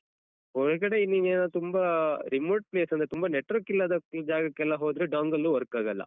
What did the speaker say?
ಹೊರಗಡೆ ನೀನೇನಾದ್ರು ತುಂಬ remote place ಅಂದ್ರೆ ತುಂಬ network ಇಲ್ಲದ ಜಾಗಕ್ಕೆಲ್ಲ ಹೋದ್ರೆ dongle work ಆಗಲ್ಲ.